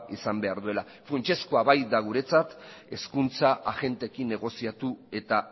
izan behar duela funtsezkoa da guretzat hezkuntza agenteekin negoziatu eta